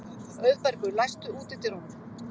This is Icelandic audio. Auðbergur, læstu útidyrunum.